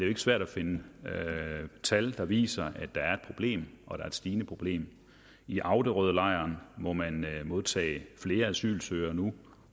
ikke svært at finde tal der viser at der er et problem og et stigende problem i auderødlejreren må man modtage flere asylsøgere nu og